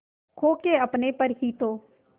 खो के अपने पर ही तो